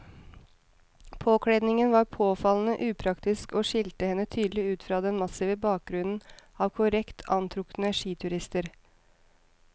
Påkledningen var påfallende upraktisk og skilte henne tydelig ut fra den massive bakgrunnen av korrekt antrukne skiturister.